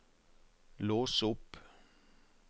lås opp